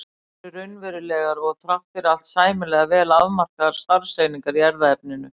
Gen eru raunverulegar og þrátt fyrir allt sæmilega vel afmarkaðar starfseiningar í erfðaefninu.